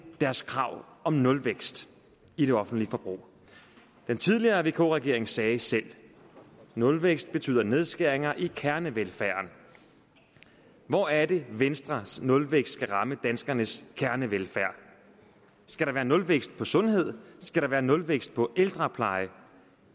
deres krav om nulvækst i det offentlige forbrug den tidligere vk regering sagde selv at nulvækst ville betyde nedskæringer i kernevelfærden hvor er det venstres nulvækst skal ramme danskernes kernevelfærd skal der være nulvækst på sundhed skal der være nulvækst på ældrepleje